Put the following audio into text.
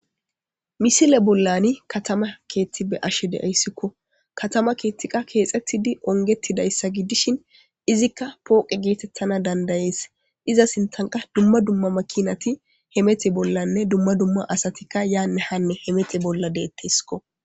misile bollani katama keethti be ashe deeyssikko katama keethtiqa keexettidi ongetidayssa giddishin izikka pooqe geetettana dandayees iza sintanqa dumma dumma makinati hemete bollanne dumma dumma asatikka yaanne hanne hemete bolla deetteskko